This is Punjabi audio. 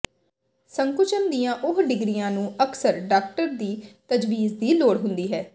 ਸੰਕੁਚਨ ਦੀਆਂ ਉੱਚ ਡਿਗਰੀਆਂ ਨੂੰ ਅਕਸਰ ਡਾਕਟਰ ਦੀ ਤਜਵੀਜ਼ ਦੀ ਲੋੜ ਹੁੰਦੀ ਹੈ